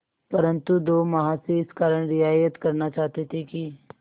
परंतु दो महाशय इस कारण रियायत करना चाहते थे कि